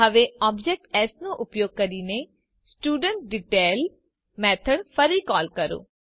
હવે object s નો ઉપયોગ કરીને studentDetail મેથડ ફરી કોલ કરો